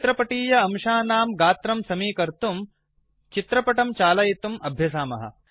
चित्रपटीय अंशानां गात्रं समीकर्तुं चित्रपटं चालयितुम् अभ्यसामः